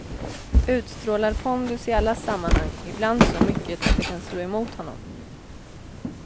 Utstrålar pondus i alla sammanhang, ibland så mycket att det kan slå emot honom.